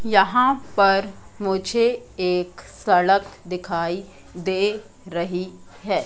यहां पर मुझे एक सड़क दिखाई दे रही है।